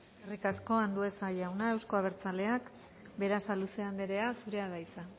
eskerrik asko andueza jauna euzko abertzaleak berasaluze andrea zurea da hitza